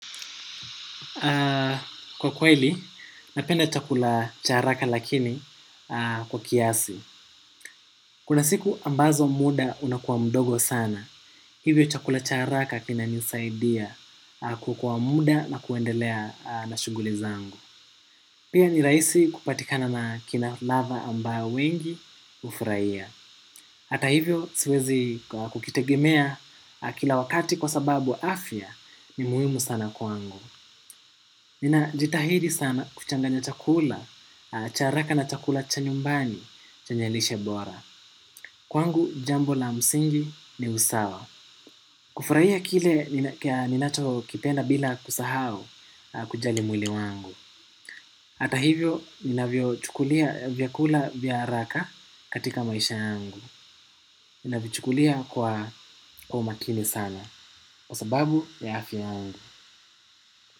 Kwa kweli, napenda chakula cha haraka lakini kwa kiasi. Kuna siku ambazo muda unakuwa mdogo sana. Hivyo chakula cha haraka kina nisaidia kuokoa muda na kuendelea na shughuli zangu. Pia ni rahisi kupatikana na kina lava ambao wengi ufurahia. Hata hivyo siwezi kukitegemea kila wakati kwa sababu afya ni muhimu sana kwangu. Nina jitahidi sana kuchanganya chakula, cha haraka na chakula chanyumbani, chenye lishe bora. Kwangu jambo la msingi ni usawa. Kufurahia kile ninacho kipenda bila kusahau kujali mwili wangu. Ata hivyo, ninavyo chukulia vyakula vya haraka katika maisha yangu. Ninavichukulia kwa umakini sana. Kwa sababu ya afya yangu.